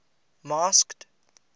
masked